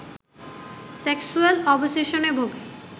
sexual অবসেশনে ভোগে